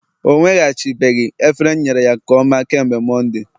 o nweghachibeghị efere m nyere ya nke ọma kemgbe Mọnde